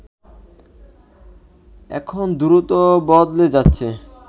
এখন দ্রুত বদলে যাচ্ছে